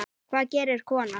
Hvað gerir kona?